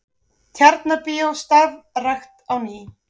Tjarnarbíó starfrækt á ný